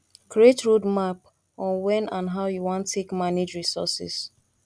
create roadmap on when and how you wan take manage resources